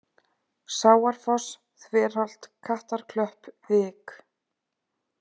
Sáarfoss, Þverholt, Kattarklöpp, Vik